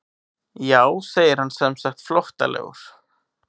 Jú segir hann semsagt flóttalegur.